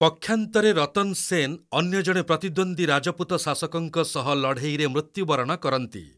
ପକ୍ଷାନ୍ତରେ ରତନ୍‌ ସେନ୍ ଅନ୍ୟ ଜଣେ ପ୍ରତିଦ୍ୱନ୍ଦୀ ରାଜପୁତ ଶାସକଙ୍କ ସହ ଲଢ଼େଇରେ ମୃତ୍ୟୁବରଣ କରନ୍ତି।